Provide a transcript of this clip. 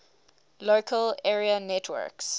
local area networks